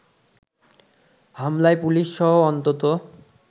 হামলায় পুলিশসহ অন্তত